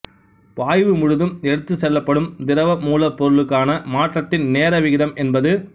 பாய்வு முழுதும் எடுத்துச்செல்லப்படும் திரவ மூலப்பொருளுக்கான மாற்றத்தின் நேர விகிதம் என்பது